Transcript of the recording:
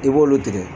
I b'olu tigɛ